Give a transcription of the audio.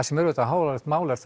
sem er auðvitað háalvarlegt mál er